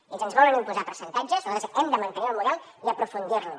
ells ens volen imposar percentatges nosaltres hem de mantenir el model i aprofundir lo